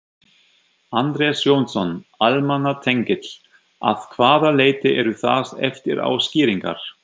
Andrés Jónsson, almannatengill: Að hvaða leyti eru það eftirá skýringar?